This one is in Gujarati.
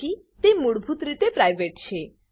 તેથી તે મૂળભૂત રીતે પ્રાઇવેટ છે